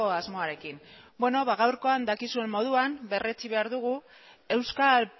asmoarekin gaurkoan dakizuen moduan berretsi behar dugu euskal